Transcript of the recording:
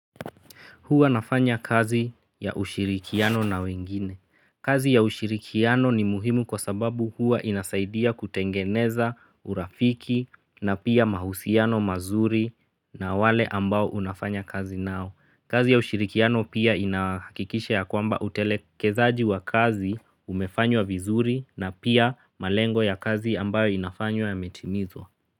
Huwa nafanya kazi ya ushirikiano na wengine. Kazi ya ushirikiano ni muhimu kwa sababu huwa inasaidia kutengeneza urafiki na pia mahusiano mazuri na wale ambao unafanya kazi nao. Kazi ya ushirikiano pia inahakikisha ya kwamba utelekezaji wa kazi umefanywa vizuri na pia malengo ya kazi ambayo inafanywa yametimizwa.